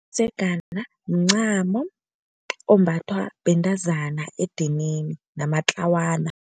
Umdzegana mncamo ombathwa bentazana edinini namatlawana.